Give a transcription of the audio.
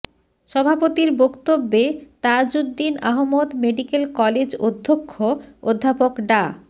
সভাপতির বক্তব্যে Tajuddin Ahmad medical college অধ্যক্ষ অধ্যাপক ডা